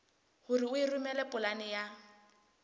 hore o romele polane ya